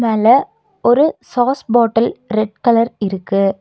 மேல ஒரு sauce bottle red colour இருக்கு.